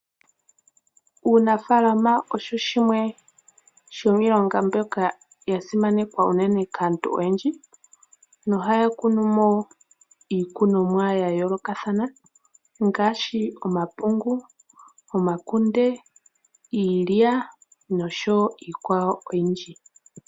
Uunafaalama osho shimwe shomiilonga mbyoka ya simanekwa unene kaantu oyendji no ha ya kunu mo iikunomwa ya yoolokathana ngaashi omapungu, omakunde iilya noshowo iikwawo oyindji